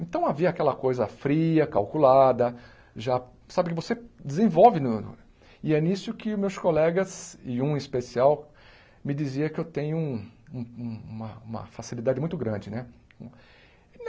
Então havia aquela coisa fria, calculada, já sabe que você desenvolve no no, e é nisso que meus colegas, e um em especial, me dizia que eu tenho um um uma uma facilidade muito grande, né?